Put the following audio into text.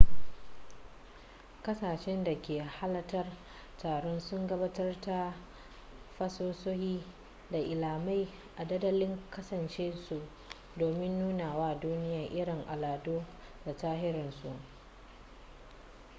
kasashen da ke halartar taron sun gabatar da fasahohi da ilimai a dandalin kasashen su domin nuna wa duniya irin al'adu da tarihinsu